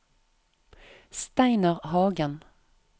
Steinar Hagen